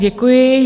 Děkuji.